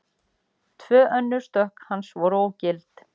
Tvö önnur stökk hans voru ógild